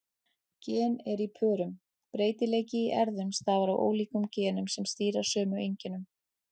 Gen eru í pörum: Breytileiki í erfðum stafar af ólíkum genum sem stýra sömu einkennum.